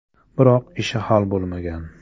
Biroq ishi hal bo‘lmagan.